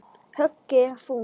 Höggið er þungt.